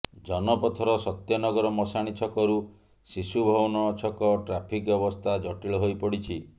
ଜନପଥର ସତ୍ୟନଗର ମଶାଣି ଛକରୁ ଶିଶୁଭବନ ଛକ ଟ୍ରାଫିକ୍ ଅବସ୍ଥା ଜଟିଳ ହୋଇପଡ଼ିଛି